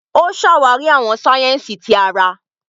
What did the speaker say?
O ṣàwarí àwọn sáyẹ́nsì tí àrà.